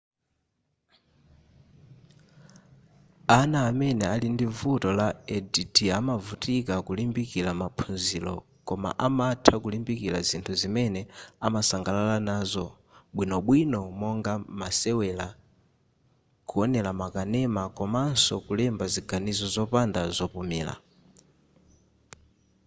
ana amene ali ndi vuto la add amavutika kulimbikila maphunziro koma amatha kulimbikila zinthu zimene amasangalala nazo bwinobwino monga masewela kuonela ma kanema komanso kulemba ziganizo zopanda zopumira